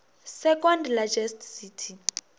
second largest city